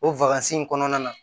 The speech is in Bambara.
O in kɔnɔna na